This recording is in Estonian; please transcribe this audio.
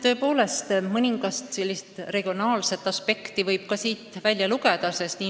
Tõepoolest, mõningane regionaalne aspekt võib siin mängus olla.